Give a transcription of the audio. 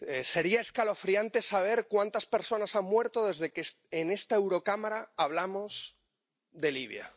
Sería escalofriante saber cuántas personas han muerto desde que en esta Eurocámara hablamos de Libia.